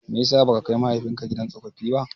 Mai yasa baka kai mahaifinka gidan tsofaffi ba?